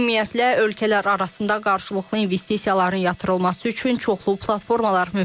Ümumiyyətlə, ölkələr arasında qarşılıqlı investisiyaların yatırılması üçün çoxlu platformalar mövcuddur.